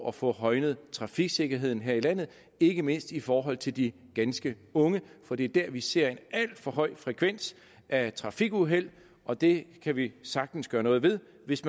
at få højnet trafiksikkerheden her i landet ikke mindst i forhold til de ganske unge for det er der vi ser en alt for høj frekvens af trafikuheld og det kan vi sagtens gøre noget ved hvis